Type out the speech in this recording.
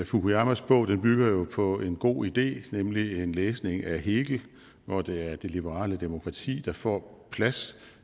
fukuyamas bog bygger jo på en god idé nemlig en læsning af hegel hvor det er det liberale demokrati der får plads